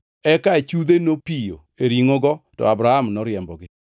Eka achudhe nopiyo e ringʼogo, to Abram noriembogi.